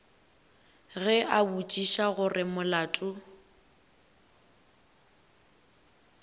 ge a botšiša gore molato